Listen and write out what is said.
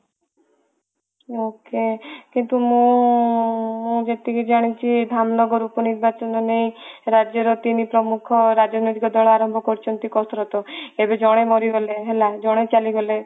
okay କିନ୍ତୁ ମୁଁ ଯେତିକି ଜାଣିଛି ଧାମ ନଗର ଉପ ନିର୍ବାଚନ ନେଇ ରାଜ୍ୟ ର ତିନି ପ୍ରମୁଖ ରାଜନୀତିକ ଦଳ ଆରମ୍ଭ କରିଛନ୍ତି କାଶରତ ଏବେ ଜଣେ ମରିଗଲେ ହେଲା ଜଣେ ଚାଲିଗଲେ